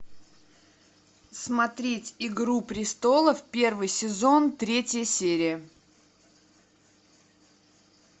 смотреть игру престолов первый сезон третья серия